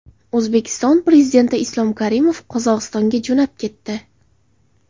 O‘zbekiston Prezidenti Islom Karimov Qozog‘istonga jo‘nab ketdi.